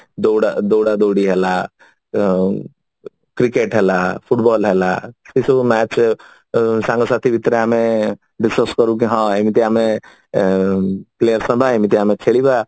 ଦୌଡା ଦୌଡି ହେଲା ଔଁ cricket ହେଲା football ହେଲା specially match ସାଙ୍ଗ ସାଥି ଭିତରେ ଆମେ discus କରୁ ଯେ ହଁ ଏମିତି ଆମେ players ହବା ଏମିତି ଆମେ ଖେଳିବା